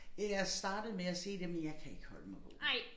Øh jeg startede med at se det men jeg kan ikke holde mig vågen